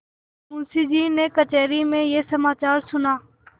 मुंशीजी ने कचहरी में यह समाचार सुना